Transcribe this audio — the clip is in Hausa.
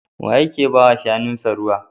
Wa yake ba wa shanunsa ruwa?